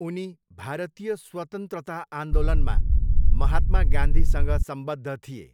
उनी भारतीय स्वतन्त्रता आन्दोलनमा महात्मा गान्धीसँग सम्बद्ध थिए।